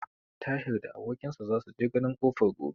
Tahir da abokin sa za su je ganin kofar gobe.